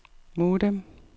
modem